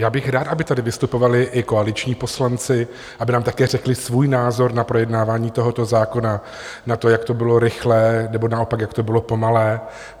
Já bych rád, aby tady vystupovali i koaliční poslanci, aby nám také řekli svůj názor na projednávání tohoto zákona, na to, jak to bylo rychlé, nebo naopak, jak to bylo pomalé.